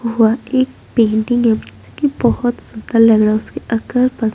वह एक पेंटिंग हैं कि बहुत सुंदर लग रहा हैं उसके अगल बग--